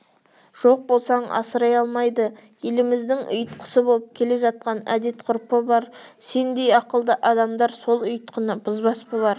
жоқ болсаң асырай алмайды еліміздің ұйтқысы болып келе жатқан әдет-ғұрпы бар сендей ақылды адамдар сол ұйытқыны бұзбас болар